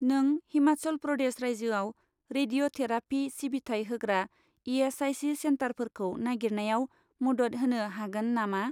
नों हिमाचल प्रदेश रायजोआव रेडिय'थेराफि सिबिथाय होग्रा इ.एस.आइ.सि. सेन्टारफोरखौ नागिरनायाव मदद होनो हागोन नामा?